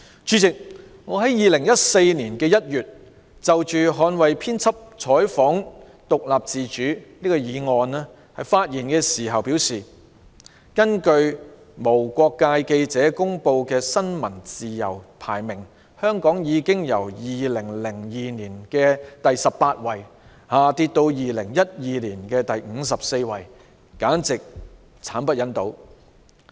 主席，我在2014年1月就"捍衞編輯採訪獨立自主"議案發言時表示，"根據無國界記者公布的新聞自由排名，香港已由2002年的第十八位下跌至2012年的第五十四位，簡直是慘不忍睹。